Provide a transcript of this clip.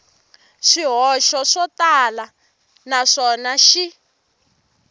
swihoxo swo tala naswona xi